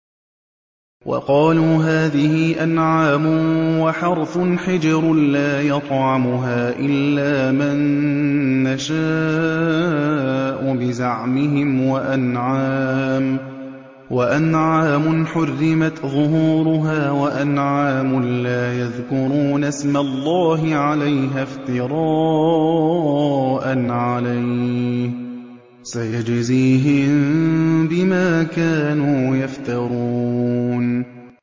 وَقَالُوا هَٰذِهِ أَنْعَامٌ وَحَرْثٌ حِجْرٌ لَّا يَطْعَمُهَا إِلَّا مَن نَّشَاءُ بِزَعْمِهِمْ وَأَنْعَامٌ حُرِّمَتْ ظُهُورُهَا وَأَنْعَامٌ لَّا يَذْكُرُونَ اسْمَ اللَّهِ عَلَيْهَا افْتِرَاءً عَلَيْهِ ۚ سَيَجْزِيهِم بِمَا كَانُوا يَفْتَرُونَ